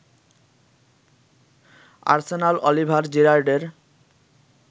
Arsenal Oliver জিরার্ডের